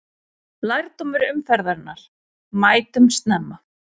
Lærdómur umferðarinnar: Mætum snemma!